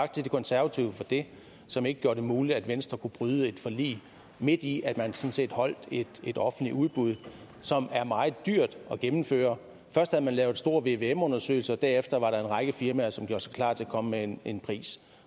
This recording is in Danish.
tak til de konservative for det som ikke gjorde det muligt at venstre kunne bryde et forlig midt i at man sådan set afholdt et offentligt udbud som er meget dyrt at gennemføre først havde man lavet en stor vvm undersøgelse og derefter var der en række firmaer som gjorde sig klar til at komme med en en pris